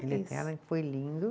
Ilha Eterna, que foi lindo.